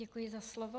Děkuji za slovo.